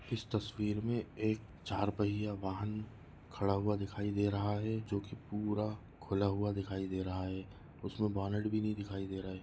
इस तस्वीर मे एक चार पहिया वाहन खड़ा हुआ दिखाई दे रहा है जो की पूरा खुला हुआ दिखाई दे रहा है उसमे बॉनेट भी नहीं दिखाई दे रहा है।